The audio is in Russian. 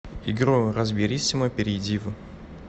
игру разбериссимо перейди в